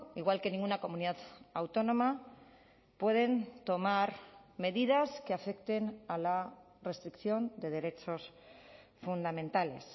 igual que ninguna comunidad autónoma pueden tomar medidas que afecten a la restricción de derechos fundamentales